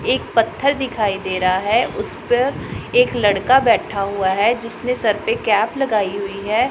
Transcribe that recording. एक पत्थर दिखाई दे रहा है उस पर एक लड़का बैठा हुआ है जिसने सर पे कैप लगाई हुई है।